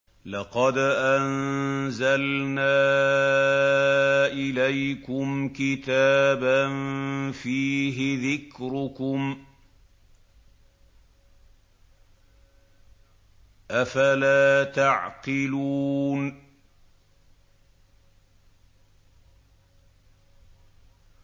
لَقَدْ أَنزَلْنَا إِلَيْكُمْ كِتَابًا فِيهِ ذِكْرُكُمْ ۖ أَفَلَا تَعْقِلُونَ